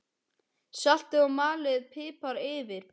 Saltið og malið pipar yfir.